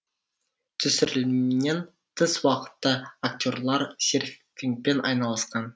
түсірілімнен тыс уақытта актерлар серфингпен айналысқан